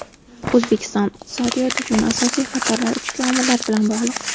O‘zbekiston iqtisodiyoti uchun asosiy xatarlar ichki omillar bilan bog‘liq.